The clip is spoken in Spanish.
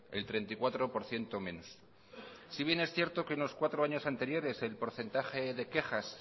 el treinta y cuatro por ciento menos si bien es cierto que en cuatro años anteriores el porcentaje de quejas